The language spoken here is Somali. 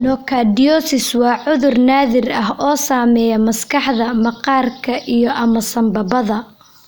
Nocardiosis waa cudur naadir ah oo saameeya maskaxda, maqaarka, iyo/ama sambabada.